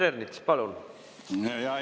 Hea juhataja!